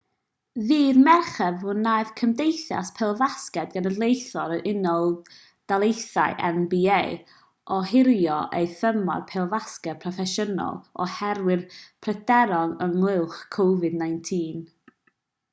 ddydd mercher fe wnaeth cymdeithas pêl-fasged genedlaethol yr unol daleithiau nba ohirio ei thymor pêl-fasged proffesiynol oherwydd pryderon ynghylch covid-19